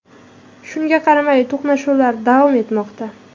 Shunga qaramay, to‘qnashuvlar davom etmoqda.